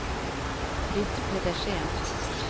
Britt Pedersen